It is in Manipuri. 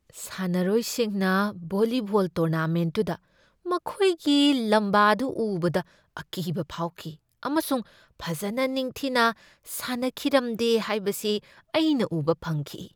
ꯁꯥꯟꯅꯔꯣꯏꯁꯤꯡꯅ ꯚꯣꯜꯂꯤꯕꯣꯜ ꯇꯣꯔꯅꯥꯃꯦꯟꯠꯇꯨꯗ ꯃꯈꯣꯏꯒꯤ ꯂꯝꯕꯗꯨ ꯎꯕꯗ ꯑꯀꯤꯕ ꯐꯥꯎꯈꯤ ꯑꯃꯁꯨꯡ ꯐꯖꯅ ꯅꯤꯡꯊꯤꯅ ꯁꯅꯈꯤꯔꯝꯗꯦ ꯍꯥꯏꯕꯁꯤ ꯑꯩꯅ ꯎꯕ ꯐꯪꯈꯤ ꯫